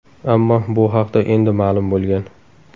Ammo bu haqda endi ma’lum bo‘lgan.